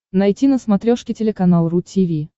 найти на смотрешке телеканал ру ти ви